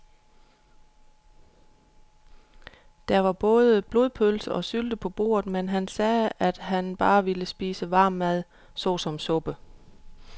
Der var både blodpølse og sylte på bordet, men han sagde, at han bare ville spise varm mad såsom suppe.